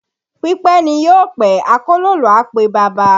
Pípẹ́ ni yóò pẹ́, akólòlò á pe baba